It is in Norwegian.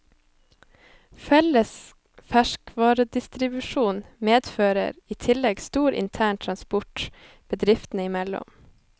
Felles ferskvaredistribusjon medfører i tillegg stor intern transport bedriftene i mellom.